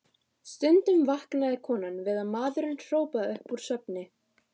Stundum vaknaði konan við að maðurinn hrópaði upp úr svefni